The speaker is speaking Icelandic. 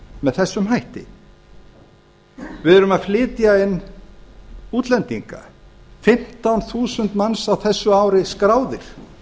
með þessum hætti við erum að flytja inn útlendinga fimmtán þúsund manns á þessu ári skráðir